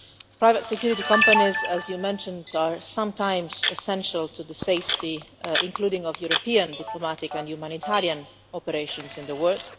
Private security companies, as you mentioned, are sometimes essential to safety, including that of European diplomatic and humanitarian operations in the world.